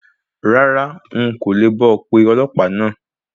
Rárá, n kò le bá ọ pe ọlọ̀pàá náà.